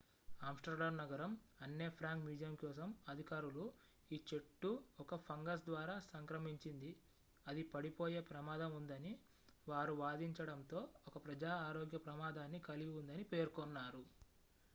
Amsterdam నగరం Anne Frank museum కోసం అధికారులు ఈ చెట్టు ఒక ఫంగస్ ద్వారా సంక్రమించింది అది పడిపోయే ప్రమాదం ఉందని వారు వాదించడంతో ఒక ప్రజా ఆరోగ్య ప్రమాదాన్ని కలిగి ఉందని పేర్కొన్నారు